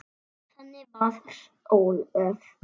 Þannig var Ólöf.